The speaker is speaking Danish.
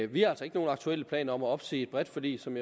vi har altså ikke nogen aktuelle planer om at opsige et bredt forlig som